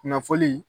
Kunnafoni